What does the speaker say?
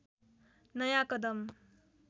नयाँ कदम